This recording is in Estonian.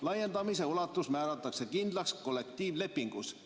Laiendamise ulatus määratakse kindlaks kollektiivlepingus.